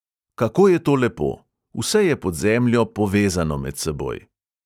Kako je to lepo: vse je pod zemljo povezano med seboj!